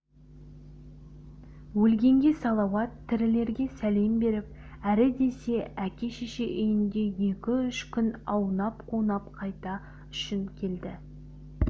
өлгенге салауат тірілерге сәлем беріп әрі десе әке-шеше үйінде екі-үш күн аунап-қунап қайту үшін келді